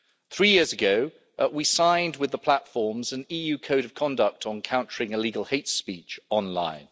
Three years ago, we signed with the platforms an EU Code of Conduct on countering illegal hate speech online.